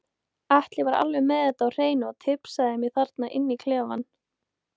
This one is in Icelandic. Atli var alveg með þetta á hreinu og tipsaði mig þarna inni í klefa.